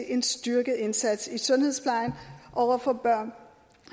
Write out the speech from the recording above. en styrket indsats i sundhedsplejen over for børn